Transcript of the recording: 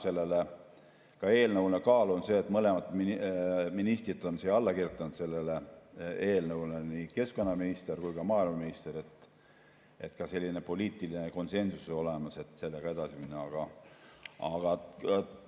Sellele eelnõule annab kaalu see, et mõlemad ministrid on alla kirjutanud sellele eelnõule, nii keskkonnaminister kui ka maaeluminister, nii et ka poliitiline konsensus on olemas, et sellega edasi minna.